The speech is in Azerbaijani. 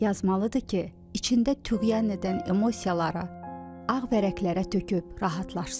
Yazmalıdır ki, içində tüğyan edən emosiyaları ağ vərəqlərə töküb rahatlaşsın.